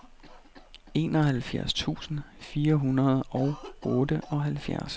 enoghalvfjerds tusind fire hundrede og otteoghalvfjerds